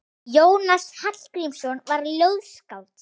Jónas Hallgrímsson var ljóðskáld.